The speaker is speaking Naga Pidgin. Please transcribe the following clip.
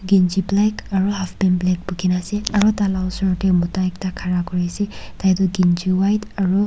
kanchi black aro half pant black bukhina ase aro tala osor tae ekta mota khara kuriase tai tu kanchi white aru--